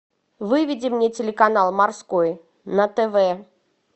выведи мне телеканал морской на тв